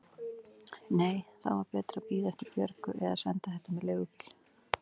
Nei, þá var betra að bíða eftir Björgu eða senda þetta með leigubíl.